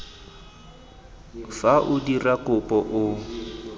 fa o dira kopo o